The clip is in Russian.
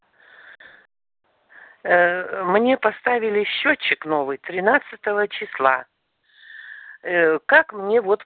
ээ мне поставили счётчик новый тринадцатого числа как мне вот